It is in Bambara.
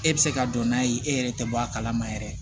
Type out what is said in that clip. E bɛ se ka don n'a ye e yɛrɛ tɛ bɔ a kalama yɛrɛ